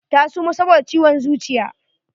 Ta suma saboda ciwon zuciya.